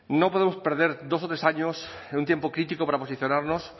no podemos perder dos o tres años en un tiempo crítico para posicionarnos